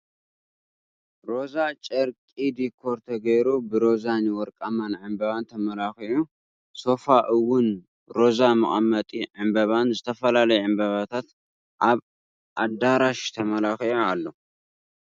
ሮዛ ጨርቂ ዲኮር ተገይሩ ብሮዛ ን ወርቃማን ዕምበባ ተመላኪዑ ሶፋ እውን ሮዛ መቀመጢ ዕምበባብ ዝተፈላለዩ ዕምበባን ኣብ ኣዳራሽ ተመላኪዑ ኣሎ።